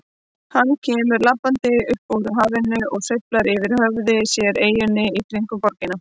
Hann kemur labbandi upp úr hafinu og sveiflar yfir höfði sér eyjunum í kringum borgina.